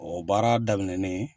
O baara daminɛnen